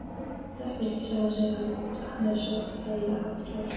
Þekkir ekki sjálfan sig, hann er svo hlægilega hátíðlegur.